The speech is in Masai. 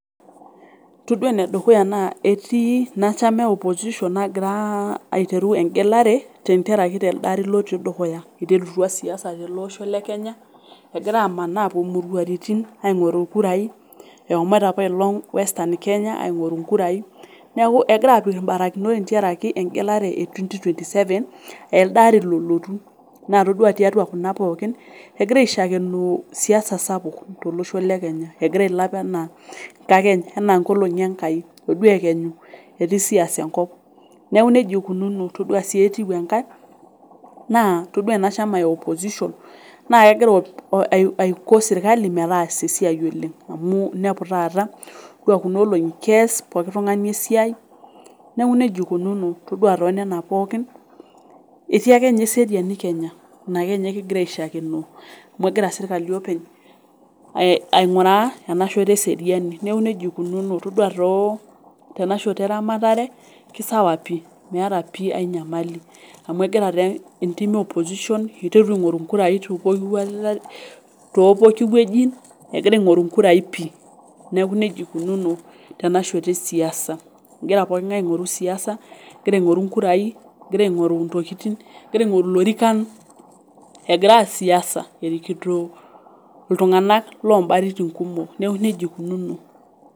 Todua enedukuya naa etii ina shama e opposition nagira airetu engelare tenkaraki elde ari otii dukuya. Iterutua siasa telosho le Kenya egira amanaa apuo imuruaritin aingoru inkurai eshomoita apailong' western Kenya aingoru inkurai, neeku egira aapik ibarakinot tentiaraki engelare e twenty twenty seven elde ari lolotu naa todua tiatua kuna pookin egira aishakenoo siasa sapuk, tolosho le Kenya egira nkakeny enaa engolongi Enkai ore ekenyu etii siasa enkop, neeku nejia eikununo todua sii etiu enkae naa todua ena shama e opposition egira aiko sirkali metaasa esiai oleng' amu inepu taata todua kuna olongi kees poki tungani esiai, neeku nejia eikununo todua too nena pookin etii ake ninye esiarini Kenya. Ina ake ninye kigira aishakenoo amu egira sirkali openy ainguraa enashoto eseriani. Neeku nejia ikununo todua too tenashoto eramatare kisawa pii meeta ainyamali amu egira taa entiim e opposition egira taa aingoru inkurai tepooki woji egira aingoru inkurai pii. Neeku nejia eikununo tenashoto e sias, egira pookin ngae aingoru siasa, egira aingoru inkurai, egira aingoru ilorikan egira aar siasa erikikito iltunganak loobaritin kumok, neeku nejia eikinuno.